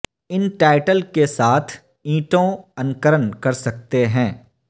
ان tile کے ساتھ اینٹوں انکرن کر سکتے ہیں